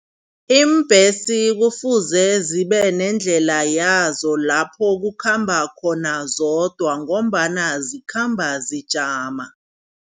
Iimbhesi kufuze zibe nendlela yazo lapho kukhamba khona zodwa ngombana zikhamba zijama.